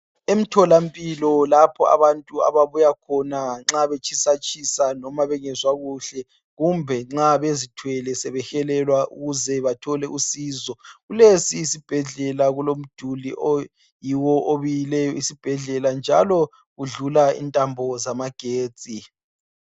Emtholampilo lapho abantu ababuya khona nxa betshisa tshisa noma bengezwa kuhle kumbe nxa bezithwele sebehelelwa ukuze bathole uncedo kulesi isibhedlela kulomduli oyiwo obiyileyo isibhedlela njalo udlula intambo zamagetsi.